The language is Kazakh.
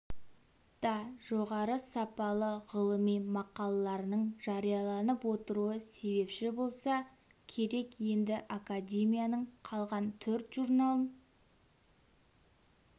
да жоғары сапалы ғылыми мақалаларының жарияланып отыруы себепші болса керек енді академияның қалған төрт журналын